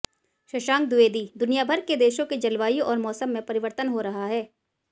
शशांक द्विवेदी दुनियाभर के देशों की जलवायु और मौसम में परिवर्तन हो रहा है